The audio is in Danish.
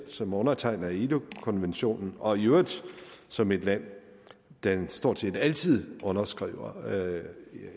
som undertegner af ilo konventionen og i øvrigt som et land der stort set altid underskriver